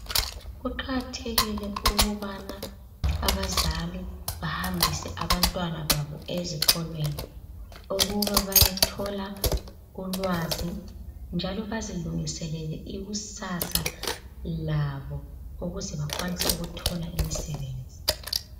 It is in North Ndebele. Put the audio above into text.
Kuqakathekile ukubana abazali bahambise abantwana babo ezikolweni ukuba bayethola ulwazi njalo bazilungiselele ikusasa labo ukuze bakwanise ukuthola imisebenzi.